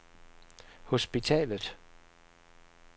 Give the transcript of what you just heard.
hospitalet